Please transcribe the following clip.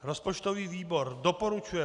Rozpočtový výbor doporučuje